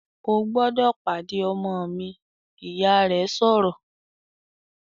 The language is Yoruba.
"O gbọ́dọ̀ pàdé ọmọ mi!", Ìyá rẹ̀ sọ̀rọ̀